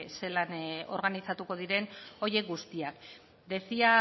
zelan organizatuko diren horiek guztiak decía